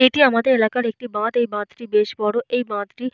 এইটি আমাদের এলাকার একটি বাঁধ। এইটি বাঁধটি বেশ বড়। এই বাঁধটি।